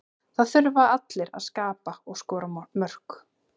Það þurfa allir að skapa og skora mörk.